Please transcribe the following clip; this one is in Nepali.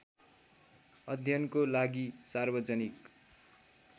अध्ययनको लागि सार्वजनिक